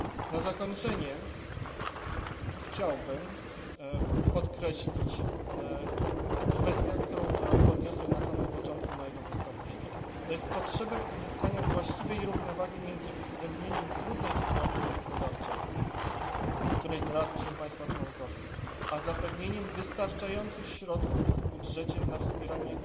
Na zakończenie chciałbym podkreślić kwestię, którą podniosłem na samym początku mojego wystąpienia, to jest potrzebę uzyskania właściwej równowagi między uwzględnieniem trudnej sytuacji gospodarczej, w której znalazły się państwa członkowskie, a zapewnieniem wystarczających środków w budżecie na wspieranie